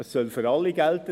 Es soll für alle gelten.